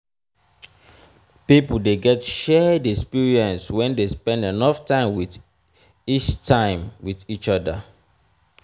pipo de get shared experience when de spend enough time with each time with each other